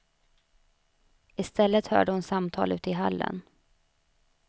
I stället hörde hon samtal ute i hallen.